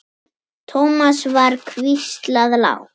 Thomas var hvíslað lágt.